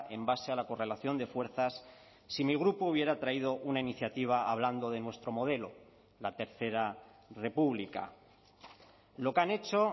en base a la correlación de fuerzas si mi grupo hubiera traído una iniciativa hablando de nuestro modelo la tercera república lo que han hecho